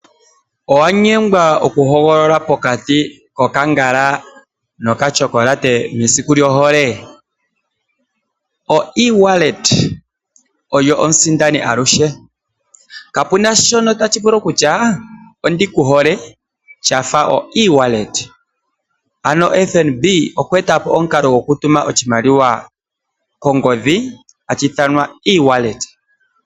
Owanyengwa okuhogolola pokati ko kangala no chokolate mesiku lyoholee? Oewallet oyo omusindani aluhe ,kapena shoka tashi vulu okutya ondikuhole shafa oewallet. Ano FNB okwa eta po omukalo go kutuma oshimaliwa kongodhi hashi ithanwa oewallet.